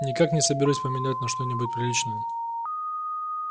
никак не соберусь поменять на что-нибудь приличное